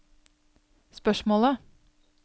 spørsmålet